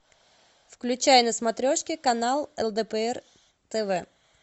включай на смотрешке канал лдпр тв